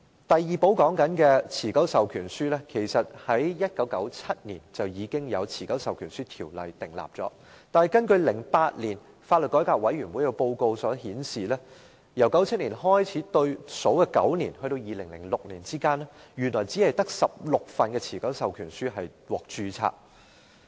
第二寶所說的持久授權書在1997年透過《持久授權書條例》訂立，但根據2008年法律改革委員會的報告，在1997年至2006年的9年之間，原來只有16份持久授權書獲註冊。